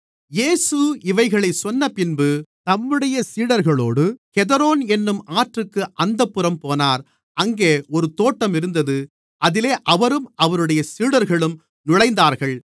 இயேசு இவைகளைச் சொன்னபின்பு தம்முடைய சீடர்களோடு கெதரோன் என்னும் ஆற்றுக்கு அந்தப்புறம் போனார் அங்கே ஒரு தோட்டம் இருந்தது அதிலே அவரும் அவருடைய சீடர்களும் நுழைந்தார்கள்